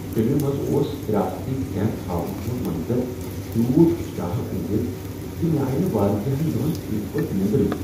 فلمہ منٛز اوس حراستی کیمپ ہاون وول منظر تیوٗت اشتعال انگیز ز مےٚ آیہ نہٕ واریاہن دۄہن ٹھیٖک پٲٹھۍ نیٔنٛدرٕے۔